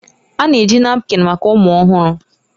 A na-eji napkin maka ụmụ ọhụrụ.